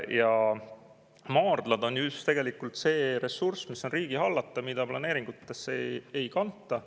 Ja maardlad on tegelikult just see ressurss, mis on riigi hallata, mida planeeringutesse ei kanta.